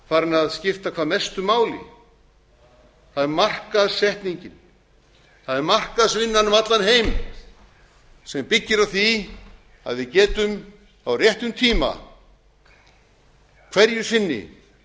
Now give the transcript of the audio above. farinn að skipta hvað mestu máli það er markaðssetningin það er markaðsvinnan um allan heim sem byggir á því að við getum á réttum tíma hverju sinni